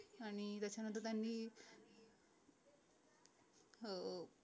आणि त्याच्या नंतर त्यांनी अह